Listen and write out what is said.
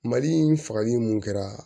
Mali fagali mun kɛra